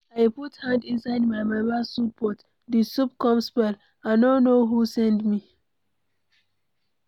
I put hand inside my mama soup pot, the soup come spoil. I no know who send me.